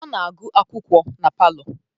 Ọ na-agụ akwụkwọ na palọ